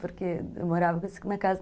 Porque eu morava com esse cara na casa.